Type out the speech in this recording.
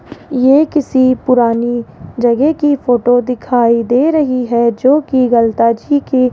ये किसी पुरानी जगह की फोटो दिखाई दे रही है जो कि गलता जी की --